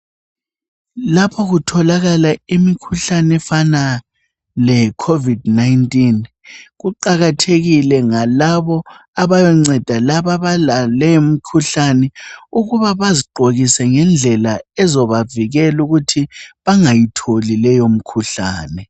Lapha kutholakala imikhuhlane efana le Covid 19 kuqakathekile ngalabo abayonceda laba abale yimikhuhlane ukuba bazigqokise ngendlela ezabavikela ukuthi abangayitholi leyo mikhuhlane.